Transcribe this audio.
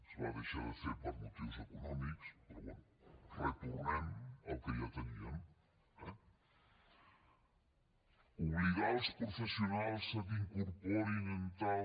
es va deixar de fer per motius econòmics però bé retornem al que ja teníem eh obligar els professionals que incorporin en tal